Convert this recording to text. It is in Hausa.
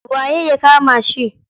Waye ya kama shi?